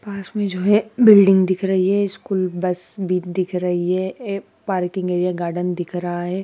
पास मे जो है बिल्डिंग दिख रही है स्कूल बस भी दिख रही है ये पार्किंग एरिया गार्डन दिख रहा है।